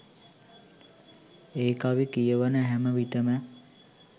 ඒ කවි කියවන හැම විටම